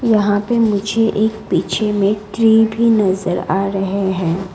यहां पे मुझे एक पीछे में ट्री भी नजर आ रहे हैं।